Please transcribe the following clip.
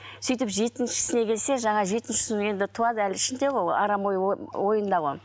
сөйтіп жетіншісіне келсе жаңа жетінсіші енді туады әлі ішінде ғой ол арам ойы ойында ғой